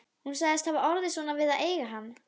Strákarnir störðu á Lúlla og Nína náfölnaði.